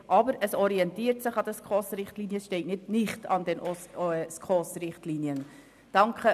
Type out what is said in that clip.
«Es orientiert sich an den SKOS-Richtlinien», und es steht nicht «nicht an den SKOS-Richtlinien».